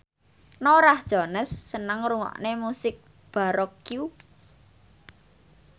Norah Jones seneng ngrungokne musik baroque